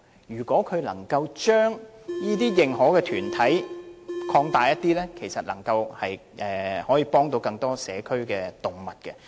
如果當局能夠增加認可團體的數目，便能夠幫助更多社區動物。